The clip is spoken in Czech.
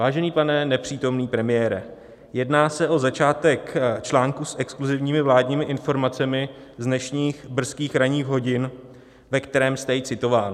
Vážený pane nepřítomný premiére, jedná se o začátek článku s exkluzivními vládními informacemi z dnešních brzkých ranních hodin, ve kterém jste i citován.